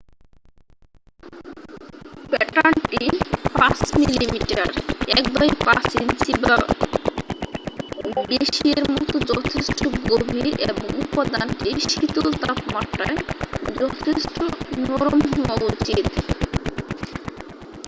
প্যাটার্নটি ৫ মি.মি. ১/৫ ইঞ্চি বা বেশি এর মত যথেষ্ট গভীর এবং উপাদানটি শীতল তাপমাত্রায় যথেষ্ট নরম হওয়া উচিৎ।